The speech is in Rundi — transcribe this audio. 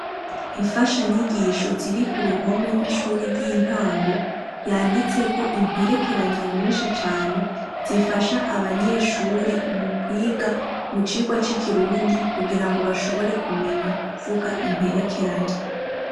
Imfashanyigisho ziri ku ruhome kw'ishure ry'intango yanditseko imperekeranya nyinshi cane zifasha abanyeshuri mu kwiga mu cigwa c'Ikirundi kugira ngo bashobore kumenya kuvuga imperekeranya.